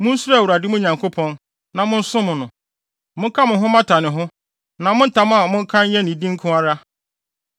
Munsuro Awurade, mo Nyankopɔn, na mosom no. Moka mo ho mmata ne ho, na mo ntam a moka nyɛ ne din nko ara.